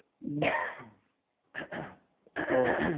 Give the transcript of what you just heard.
হম হ্যাঁ